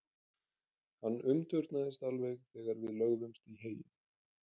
Hann umturnaðist alveg þegar við lögðumst í heyið.